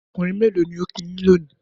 Ọkùnrin mélò ni ó kí yín lónìí?